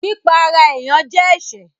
Pípa ará èèyàn jẹ́ ẹsẹ̀